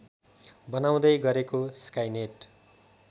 बनाउँदै गरेको स्काइनेट